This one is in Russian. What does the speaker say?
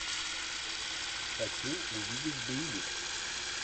хочу увидеть боевик